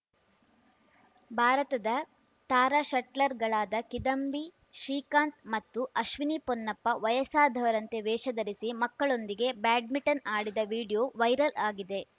ಭಾರತದ ತಾರಾ ಶಟ್ಲರ್‌ಗಳಾದ ಕಿದಂಬಿ ಶ್ರೀಕಾಂತ್‌ ಮತ್ತು ಅಶ್ವಿನಿ ಪೊನ್ನಪ್ಪ ವಯಸ್ಸಾದವರಂತೆ ವೇಷ ಧರಿಸಿ ಮಕ್ಕಳೊಂದಿಗೆ ಬ್ಯಾಡ್ಮಿಂಟನ್‌ ಆಡಿದ ವಿಡಿಯೋ ವೈರಲ್‌ ಆಗಿದೆ